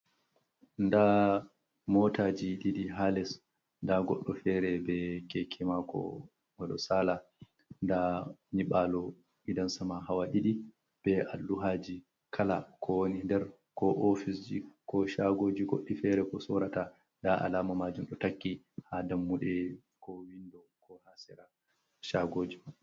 Nda motaji ɗiɗi ha les nda goɗɗo fere be keke mako oɗo sala nda nibalo gidan sama hawa ɗiɗi be alluhaji kala ko wani nder ko ofisji ko shagoji goɗɗi fere ko sorata nda alama majum ɗo takki ha dammuɗe ko windon ko ha sera shagoji man.